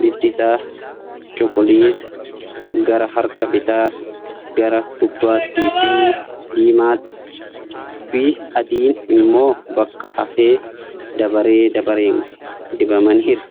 Bifti isaa cuquliisa gara harka bitaa gara gubbatti fi diimaafii adii'n immoo bakka hafe dabaree dabareen dibamaniiru.